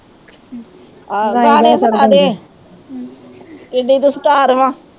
ਆਹੋ ਗਾਣੇ ਸਨਾਦੇ ਕਿਡੀ ਤੂੰ ਸਟਾਰ ਵਾ